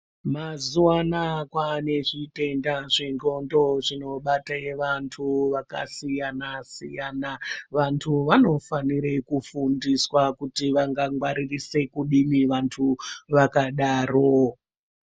Mazuva anaya kwane zvitenda zvendxondo zvinobate antu vakasiyana-siyana. Vantu vanofanire kufundiswa kuti vanga ngwaririse kudini vantu vakadaro.